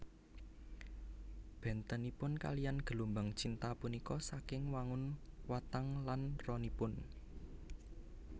Bèntenipun kaliyan gelombang cinta punika saking wangun watang lan ronipun